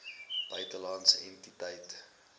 buitelandse entiteit gehou